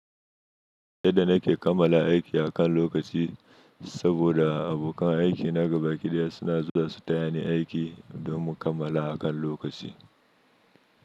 Yadda nake kammala aiki akan lokaci saboda abokan aiki na ga baƙi daya suna zuwa su taya ni aiki don mu kammala akan lokaci.